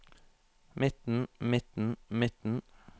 midten midten midten